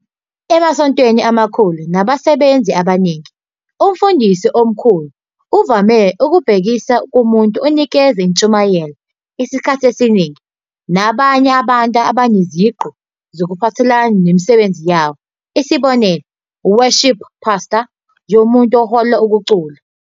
Emasontweni amakhulu anabasebenzi abaningi, "uMfundisi oMkhulu" uvame ukubhekisa kumuntu onikeza izintshumayelo isikhathi esiningi, nabanye abantu baneziqu eziphathelene nemisebenzi yabo, isibonelo "Worship Pastor" yomuntu ohola ukucula.